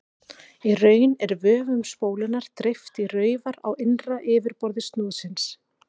Í raun er vöfum spólunnar dreift í raufar á innra yfirborði snúðsins.